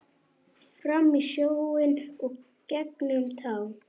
Fram í sjóinn gengur tá.